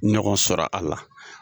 Ɲɔgɔn sɔrɔ a la